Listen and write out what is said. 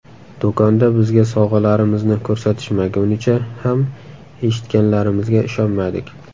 Do‘konda bizga sovg‘alarimizni ko‘rsatishmagunicha ham eshitganlarimizga ishonmadik.